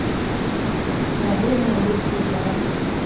ha ho na ho ba